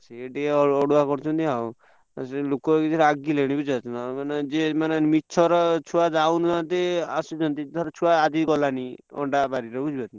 ସେଇ ଟିକେ ଅଡୁଆ କରୁଛନ୍ତି ଆଉ ଲୋକ ସେଠୀ ରାଗିଲେଣି ବୁଝିପାରୁଛ ନାଁ ଯିଏ ମିଛରେ ଛୁଆ ଯାଉନାହାନ୍ତି ଆସୁଛନ୍ତି ଧର ଛୁଆ ଆଜି ଗଲାନି ଅଣ୍ଡା ବାରିରେ ବୁଝିପାରୁଛ ନାଁ।